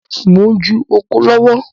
Mo ń ju oko lọ́wọ́